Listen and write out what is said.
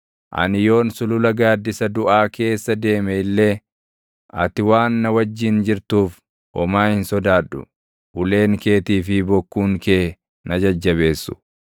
Ani yoon sulula gaaddisa duʼaa keessa deeme illee ati waan na wajjin jirtuuf, homaa hin sodaadhu; uleen keetii fi bokkuun kee na jajjabeessu.